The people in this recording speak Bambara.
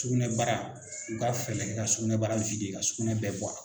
Sugunɛbara u ka fɛɛrɛ kɛ ka sugunɛbara ka sugunɛ bɛɛ bɔ